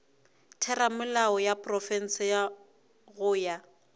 theramelao ya profense go ya